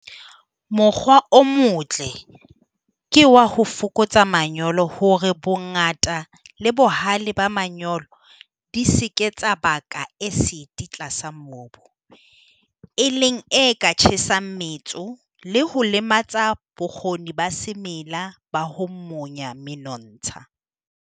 Mokgwa o motle ke wa ho fokotsa manyolo hore bongata le bohale ba manyolo di se ke tsa baka esiti tlasa mobu, e leng e ka tjhesang metso le ho lematsa bokgoni ba semela ba ho monya menontsha.